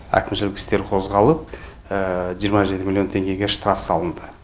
әкімшілік істер қозғалып жиырма жеті миллион теңгеге штраф салынды